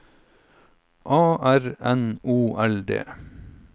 A R N O L D